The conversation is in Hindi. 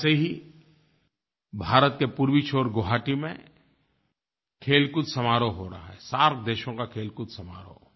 वैसे ही भारत के पूर्वी छोर गुवाहाटी में खेलकूद समारोह हो रहा है सार्क देशों का खेलकूद समारोह